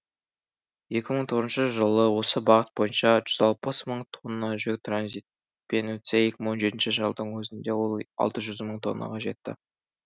екі мың тоғызыншы жылы осы бағыт бойынша жүз алпыс мың тонна жүк транзитпен өтсе екі мың он жетінші жылдың өзінде ол алты жүз мың тоннаға жетті